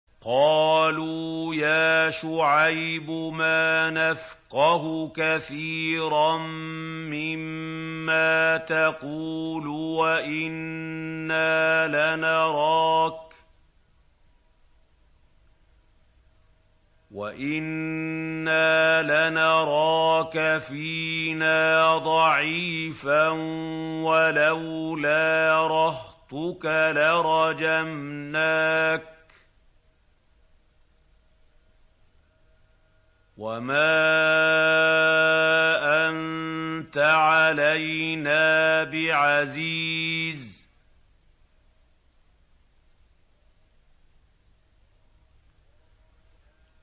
قَالُوا يَا شُعَيْبُ مَا نَفْقَهُ كَثِيرًا مِّمَّا تَقُولُ وَإِنَّا لَنَرَاكَ فِينَا ضَعِيفًا ۖ وَلَوْلَا رَهْطُكَ لَرَجَمْنَاكَ ۖ وَمَا أَنتَ عَلَيْنَا بِعَزِيزٍ